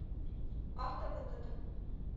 автовыгода